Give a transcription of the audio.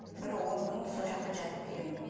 бір он күн сол жаққа жатып келемін